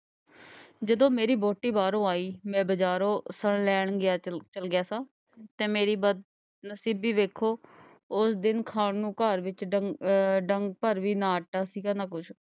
ਜਦੋਂ ਮੇਰੀ ਵਹੁਟੀ ਬਾਹਰੋਂ ਆਈ, ਮੈਂ ਬਜਾਰੋਂ ਰਾਸ਼ਨ ਲੈਣ ਗਿਆ ਅਹ ਚੱਲਿਆਂ ਸਾਂ ਤੇ ਮੇਰੀ ਬਦਨਸੀਬੀ ਦੇਖੋ, ਉਸ ਦਿਨ ਖਾਣ ਨੂੰ ਘਰ ਵਿੱਚ ਡੰਗ ਆਹ ਡੰਗ ਭਰ ਵੀ ਨਾ ਆਟਾ ਸੀਗਾ ਨਾ ਕੁੱਛ,